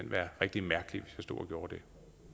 være rigtig mærkeligt hvis jeg stod og gjorde det